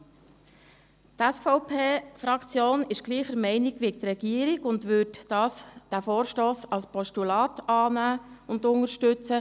Die SVP-Fraktion ist gleicher Meinung wie die Regierung und würde diesen Vorstoss als Postulat annehmen und unterstützen.